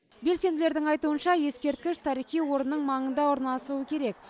белсенділердің айтуынша ескерткіш тарихи орынның маңында орналасуы керек